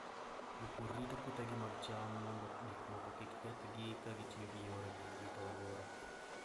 Jopur rito puothegi mag cham mondo gik moko kik kethgi ka gitiyo gi yore mag rito alwora.